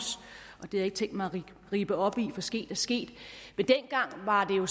det har jeg ikke tænkt mig at rippe op i for sket er sket men dengang var det jo